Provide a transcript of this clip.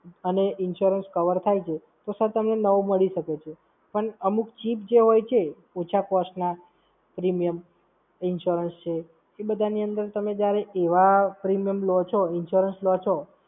અને Insurance cover થાય છે, તો Sir તમને નવો મળી શકે છે. પણ અમુક ચીજ જે હોય છે, ઓછા Cost માં Premium insurance છે એ બધાની અંદર તમે જ્યારે એવાં Premium લો છો, Insurance લો છો,